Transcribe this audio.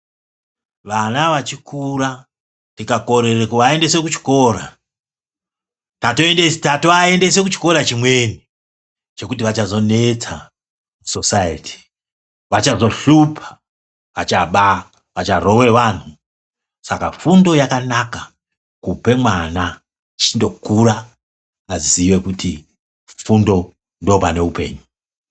Vana vachikura, tikakorere kuvayendese kuchikora, tatovayendese kuchikora chimweni, chekuti vachazonetsa sosayethi. Vachazohlupha, vachaba, vacharowe vanhu. Saka, fundo yakanaka kupemwana, kundokura azive kuti fundo ndopanehupenyu.